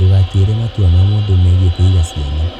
Ndũgatuĩre matua ma mũndũ megiĩ kũgĩa ciana.